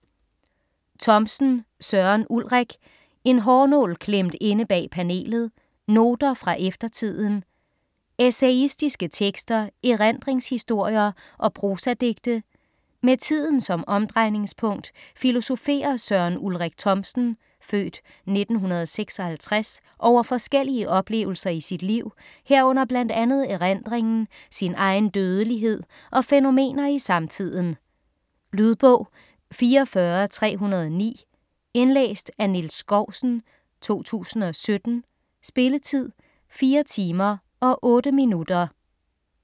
Thomsen, Søren Ulrik: En hårnål klemt inde bag panelet: noter fra eftertiden Essayistiske tekster, erindringshistorier og prosadigte. Med tiden som omdrejningspunkt filosoferer Søren Ulrik Thomsen (f. 1956) over forskellige oplevelser i sit liv, herunder bl.a. erindringen, sin egen dødelighed og fænomener i samtiden. Lydbog 44309 Indlæst af Niels Skousen, 2017. Spilletid: 4 timer, 8 minutter.